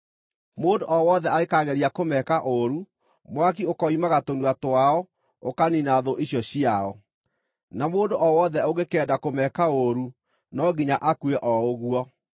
Mũndũ o wothe angĩkaageria kũmeka ũũru, mwaki ũkoimaga tũnua twao ũkaniina thũ icio ciao. Na mũndũ o wothe ũngĩkenda kũmeka ũũru no nginya akue o ũguo.